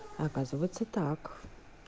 оказывается так